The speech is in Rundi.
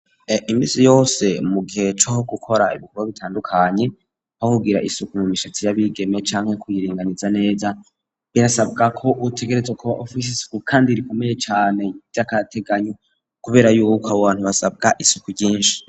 Imisi yose mu gihe co gukora ibikorwa bitandukanye bahubwira isuku mu mishatsi yabigeme canke kuyirenganiza neza birasabwa ko utegerezwa kuwa ufisi isuku kandi rikomeye cane ry'akateganyo kubera Aho hantu hasabwa isuku ryinshi.